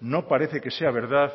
no parece que sea verdad